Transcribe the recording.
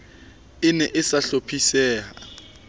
e ne e sa hlophiseha